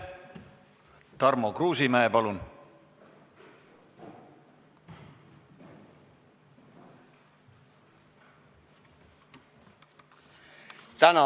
Tarmo Kruusimäe, palun!